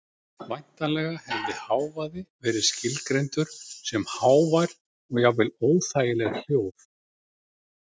Væntanlega hefði hávaði verið skilgreindur sem hávær og jafnvel óþægileg hljóð.